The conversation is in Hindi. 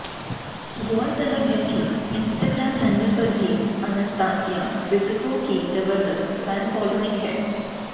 गौरतलब है कि इंस्टाग्राम हैंडल पर भी अनस्तासिया क्वित्को की जबरदस्त फैन फॉलोइंग हैं